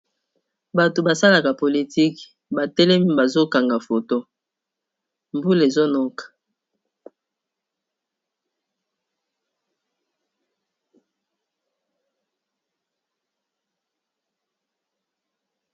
bato basalaka politike batelemi bazokanga foto mbula ezonoka